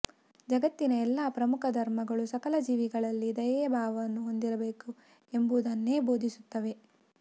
ಜಗತ್ತಿನ ಎಲ್ಲ ಪ್ರಮುಖ ಧರ್ಮಗಳು ಸಕಲ ಜೀವಿಗಳಲ್ಲಿ ದಯೆಯ ಭಾವವನ್ನು ಹೊಂದಿರಬೇಕು ಎಂಬುದನ್ನೇ ಬೋಧಿಸುತ್ತವೆ